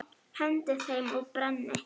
Hendi þeim og brenni.